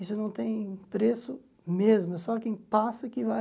Isso não tem preço mesmo, é só quem passa que vai.